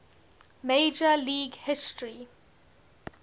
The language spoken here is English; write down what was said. major league history